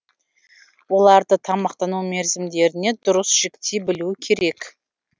оларды тамақтану мерзімдеріне дұрыс жіктей білу керек